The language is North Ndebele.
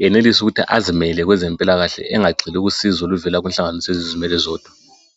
yenelise ukuthi azimela kwezempilakahle engagxili kusizo oluvela kunhlanganiso ezizimele zodwa